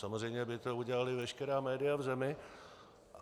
Samozřejmě by to udělala veškerá média v zemi.